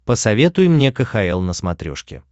посоветуй мне кхл на смотрешке